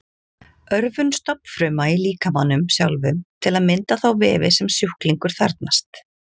Örvun stofnfruma í líkamanum sjálfum til að mynda þá vefi sem sjúklingur þarfnast.